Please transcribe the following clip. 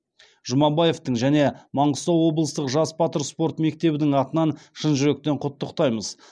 жұмабаевтың және маңғыстау облыстық жас батыр спорт мектебінің атынан шын жүректен құттықтаймыз